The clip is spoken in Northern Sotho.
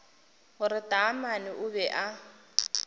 gore taamane o be a